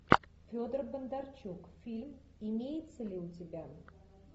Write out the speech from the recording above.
федор бондарчук фильм имеется ли у тебя